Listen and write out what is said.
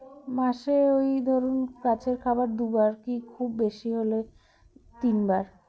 মাসে ঐ ধরুন গাছের খাবার দুবার কি খুব বেশি হলে তিনবার